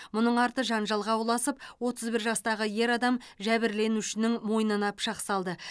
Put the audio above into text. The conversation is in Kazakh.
мұның арты жанжалға ұласып отыз бір жастағы ер адам жәбірленушінің мойнына пышақ салды